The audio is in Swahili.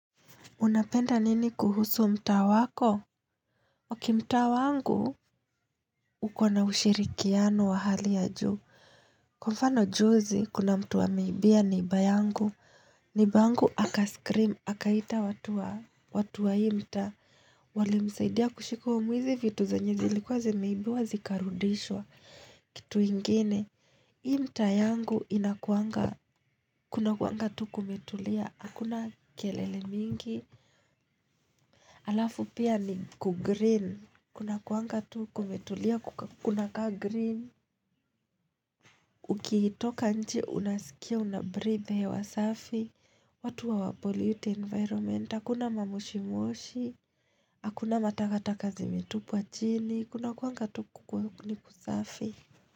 Unapenda nini kuhusu mtaa wako? Okay mtaa wangu, uko na ushirikiano wa hali ya juu. Kwa mfano juzi, kuna mtu ameibia neighbour yangu. Neiba yangu, akascream, akaita watu wa hii mtaa Walimsaidia kushika huyo mwizi, vitu zenye zilikuwa zimeibiwa zikarudishwa. Kitu ingine. Hii mtaa yangu inakuanga, kunakuanga tu kumetulia, hakuna kelele mingi. Alafu pia ni kugreen. Kunakuanga tu kumetulia kunakaa green Ukiitoka nje unasikia unabreathe hewa safi watu hawa pollute environment hakuna mamoshimoshi Hakuna matakataka zimetupwa chini kunakuanga tu nikusafi.